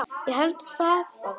Ég held það bara.